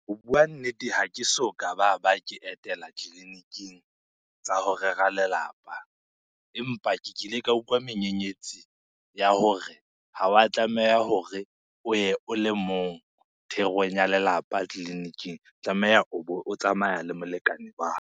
Ho bua nnete, ha ke so ka baba ke etela tleliniking tsa ho rera lelapa. Empa ke kile ka utlwa menyenyetsi ya hore ha wa tlameha hore o ye o le mong therong ya lelapa tleliniking. Tlameha o bo o tsamaya le molekane wa .